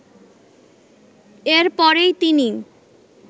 এর পরেই তিনি